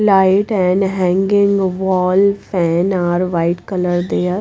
light and hanging wall fan are white colour there.